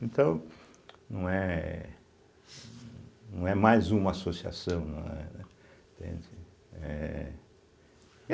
Então, não é não é mais uma associação, não é, entende, é.